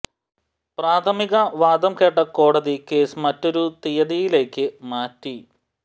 പ്രഥമിക വാദം കേട്ട കോടതി കേസ് മറ്റൊരു തീയതിയിലേയ്ക്ക് മാറ്റി